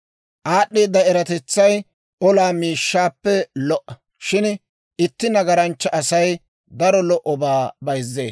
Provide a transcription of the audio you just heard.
Aad'd'eeda eratetsay olaa miishshaappe lo"a; shin itti nagaranchcha Asay daro lo"obaa bayzzee.